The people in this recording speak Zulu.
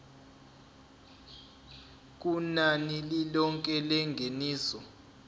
kunani lilonke lengeniso